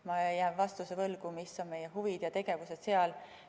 Ma jään vastuse võlgu, mis on meie huvid ja tegevused seal.